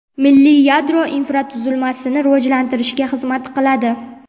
milliy yadro infratuzilmasini rivojlantirishga xizmat qiladi.